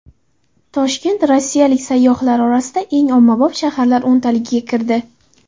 Toshkent rossiyalik sayyohlar orasida eng ommabop shaharlar o‘ntaligiga kirdi .